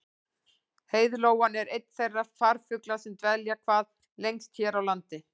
Heiðlóan er einn þeirra farfugla sem dvelja hvað lengst hér á landi.